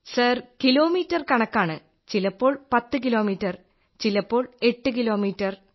sir kilometre കണക്കാണ് ചിലപ്പോൾ 10 kilometre ചിലപ്പോൾ എട്ട് കിലോമീറ്റർ